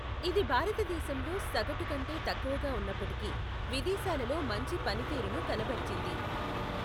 ఇది భారతదేశంలో సగటు కంటే తక్కువగా ఉన్నప్పటికీ విదేశాలలో మంచి పనితీరును కనబరిచింది.